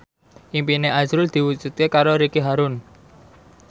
impine azrul diwujudke karo Ricky Harun